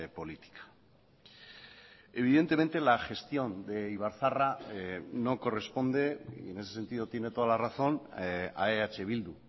política evidentemente la gestión de ibarzaharra no corresponde y en ese sentido tiene toda la razón a eh bildu